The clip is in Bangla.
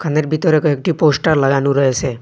দোকানের বিতরে কয়েকটি পোস্টার লাগানো রয়েসে।